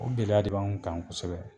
O gɛlɛya de b'anw kan kosɛbɛ.